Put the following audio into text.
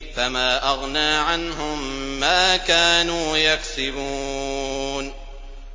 فَمَا أَغْنَىٰ عَنْهُم مَّا كَانُوا يَكْسِبُونَ